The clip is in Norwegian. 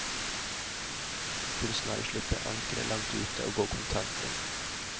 Kunsten er å slippe ankeret langt ute og gå kontant inn.